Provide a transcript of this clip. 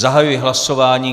Zahajuji hlasování.